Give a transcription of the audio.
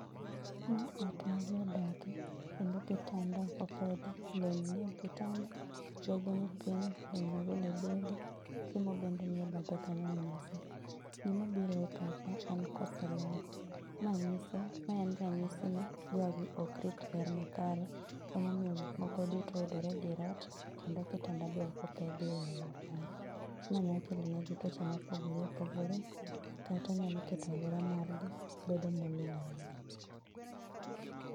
Ma ot majii odake, kendo kitanda opedhi, lewni nie kitanda, bege ni piny chiemo bende nie bathe kanyo e mesa. Gima biro e pacha en koso ler, mae nyiso, maen ranyisi ni jogi okrit ler makare, emomio gik moko duto yudore e dier ot kendo kitanda be kopedhi e yoo makare. Ma nya kelonegi twoche opogore opogore kata nyalo keto aluora margi bedo molil ainya.